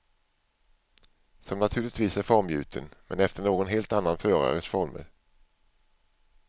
Som naturligtvis är formgjuten, men efter någon helt annan förares former.